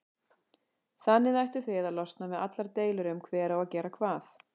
Þannig ættuð þið að losna við allar deilur um hver á að gera hvað.